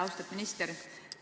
Austatud minister!